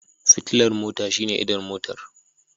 Fitilar mota shine idon Motar.